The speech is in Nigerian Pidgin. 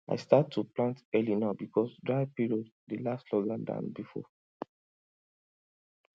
i start to plant early now because dry period dey last longer than before